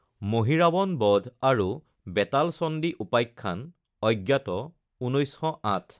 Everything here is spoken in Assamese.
মহীৰাৱণ বধ আৰু বেতাল চণ্ডী উপাখ্যানঅজ্ঞাত১৯০৮